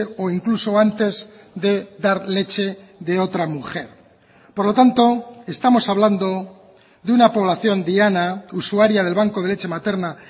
o incluso antes de dar leche de otra mujer por lo tanto estamos hablando de una población diana usuaria del banco de leche materna